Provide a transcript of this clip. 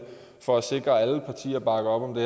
for at sikre at alle partier bakker op om det